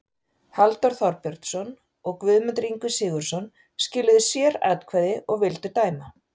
Halldór Þorbjörnsson og Guðmundur Ingvi Sigurðsson skiluðu sératkvæði og vildu dæma